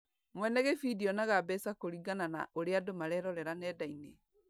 Mwene gĩbindi onaga mbeca kũringana na ũrĩa andũ marerorera nenda-inĩ.